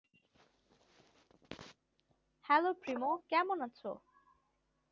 hello প্রিমো কেমন আছো